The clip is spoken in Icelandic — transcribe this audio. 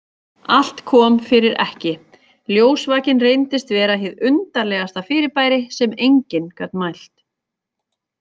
Allt kom fyrir ekki, ljósvakinn reyndist vera hið undarlegasta fyrirbæri sem enginn gat mælt.